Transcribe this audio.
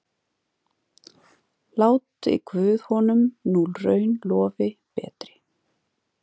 Láti guð honum nú raun lofi betri.